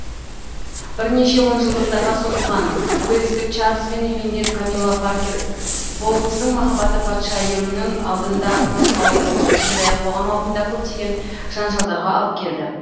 бірнеше онжылдықтарға созылған уэльстік чарльз бен үйленген камила паркер боулздың махаббаты патшайымның алдында тосқауыл болды сондай ақ қоғам алдында көптеген жанжалдарға алып келді